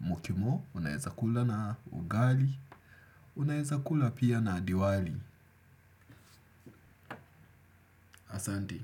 mukimo, unaeza kula na ugali, unaeza kula pia na diwali. Asante.